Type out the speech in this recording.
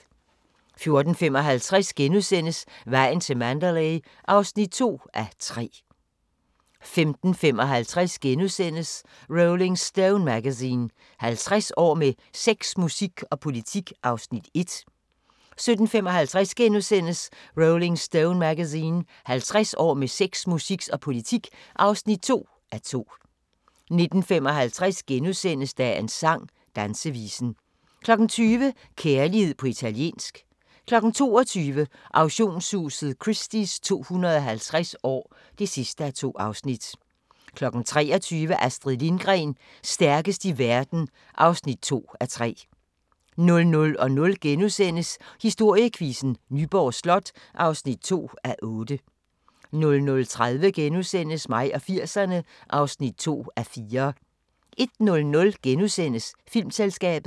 14:55: Vejen til Mandalay (2:3)* 15:55: Rolling Stone Magazine: 50 år med sex, musik og politik (1:2)* 17:55: Rolling Stone Magazine: 50 år med sex, musik og politik (2:2)* 19:55: Dagens sang: Dansevisen * 20:00: Kærlighed på italiensk 22:00: Auktionshuset Christie's 250 år (2:2) 23:00: Astrid Lindgren – stærkest i verden (2:3) 00:00: Historiequizzen: Nyborg Slot (2:8)* 00:30: Mig og 80'erne (2:4)* 01:00: Filmselskabet *